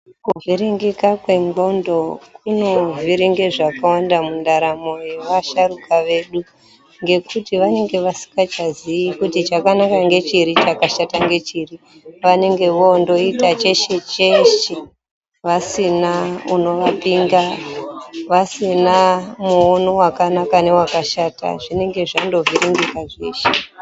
Kuvhiringika kwendxondo kunovhiringa zvakawanda mundaramo yevasharukwa vedu ngekuti vanenge vasingachaziyi kuti chakanaka ngechiri chakashata ngechiri. Vanenge vondoita cheshe cheshe vasina unovapinga, vasina muono wakanaka newakashata. Zvinenge zvandivhiringika zveshe.